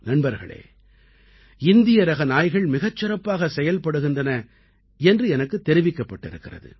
நண்பர்களே இந்தியரக நாய்கள் மிகச் சிறப்பாகச் செயல்படுகின்றன என்று எனக்குத் தெரிவிக்கப்பட்டிருக்கிறது